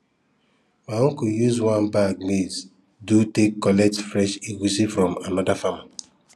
my uncle use one bag maize do take collect fresh egusi from another farmer